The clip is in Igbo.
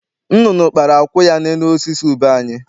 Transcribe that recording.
Nnụnụ kpara akwụ ya n'elu osisi ube anyị.